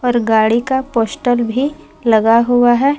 और गाड़ी का पोस्टर भी लगा हुआ है।